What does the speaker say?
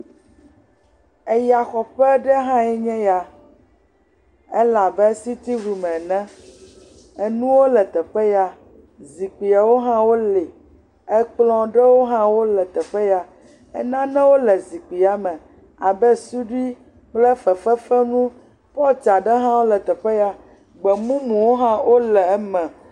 eya xɔƒe ɖe hã enye ya el'be sitin rum ene, enuwo le teƒe ya zikpi aɖewo hã wó li ekplɔ̃ ɖewo hã wó le teƒe ya nane le zikpi ya me abe suɖi kple fefefenu pɔt aɖe hã wóle teƒe ya gbemumu ɖewo ha wóle eme